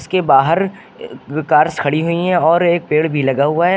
इसके बाहर कार्स खड़ी हुई हैं और एक पेड़ भी लगा हुआ है।